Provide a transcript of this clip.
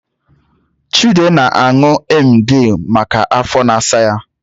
Chude na-aṅù emgili maka afọ na-asa ya